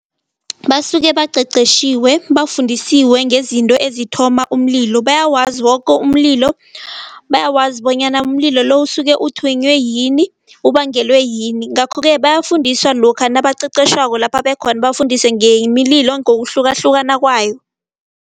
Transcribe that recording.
Basuke baqeqetjhiwe bafundisiwe ngezinto ezithoma umlilo. Bayawazi woke umlilo, bayakwazi bonyana umlilo lo usuke uthonywe yini, ubangelwe yini. Ngakho ke bayafundiswa lokha nabaqeqetjhwako lapha abakhona, bafundiswe nemililo ngokuhlukahlukana kwayo.